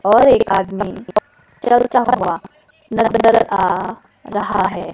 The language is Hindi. और एक आदमी चलता हुवा नजर आ रहा हैं।